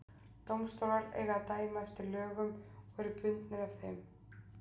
dómstólar eiga að dæma eftir lögum og eru bundnir af þeim